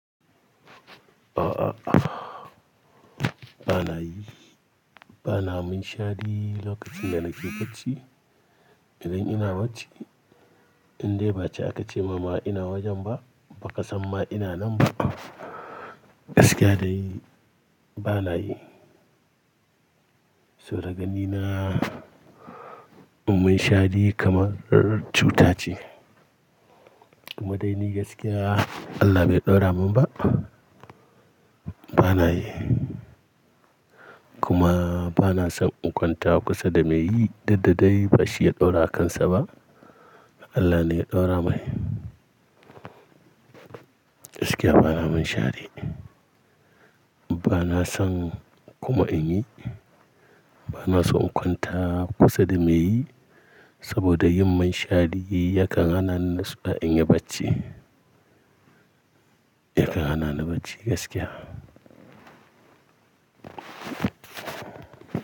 A a a. Bana yi. Bana mun shari lokacin da na ke bacci. Idan ina bacci, in dai ba aka ce mama ina wajen ba, ba ka san ma ina nan ba. Gaskiya da yi bana yi. So da ganina mun shari kamar cuta ce. Kuma dai ni gaskiya Allah bai ɗaura mun ba. Bana yi. Kuma bana son in kwanta kusa da me yi duk dadai bashi ya ɗaura akansa ba. Allah ne ya ɗaura mai. Gaskiya bana mun shadi. Bana son kuma in yi. Bana son in kwanta kusa da me yi saboda yin mun shari yakan hana ni in yi bacci. Yakan hana ni bacci gaskiya.